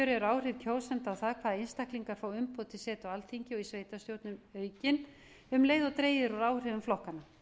eru áhrif kjósenda á það hvaða einstaklingar fá umboð til setu á alþingi og í sveitarstjórnum aukin um leið og dregið er úr áhrifum flokkanna